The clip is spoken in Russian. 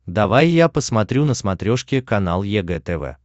давай я посмотрю на смотрешке канал егэ тв